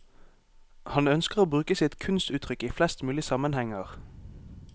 Han ønsker å bruke sitt kunstuttrykk i flest mulig sammenhenger.